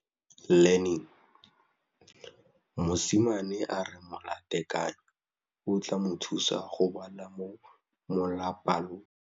Mosimane a re molatekanyô o tla mo thusa go bala mo molapalong.